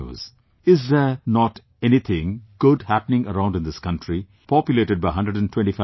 Is there not anything good happening around in this country populated by 125 crore people